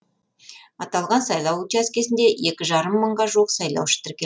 аталған сайлау учаскесінде екі жарым мыңға жуық сайлаушы тіркелген